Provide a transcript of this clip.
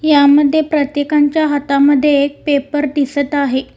यामध्ये प्रत्येकांच्या हातामध्ये एक पेपर दिसत आहे.